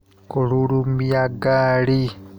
Kũrurumia ngari.